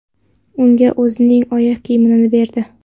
Unga o‘zining oyoq kiyimini berdi.